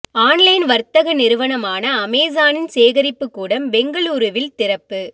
online வர்த்தக் நிறுவனமான அமேசானின் சேகரிப்புக் கூடம் பெங்களூருவில் திறப்பு